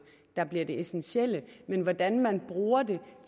der bliver det essentielle men hvordan man bruger det